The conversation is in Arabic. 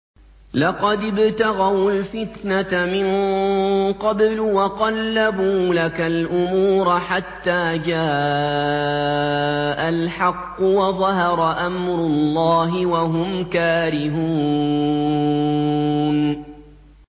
لَقَدِ ابْتَغَوُا الْفِتْنَةَ مِن قَبْلُ وَقَلَّبُوا لَكَ الْأُمُورَ حَتَّىٰ جَاءَ الْحَقُّ وَظَهَرَ أَمْرُ اللَّهِ وَهُمْ كَارِهُونَ